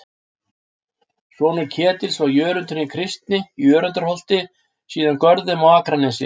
Sonur Ketils var Jörundur hinn kristni í Jörundarholti, síðar Görðum, á Akranesi.